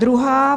Druhá.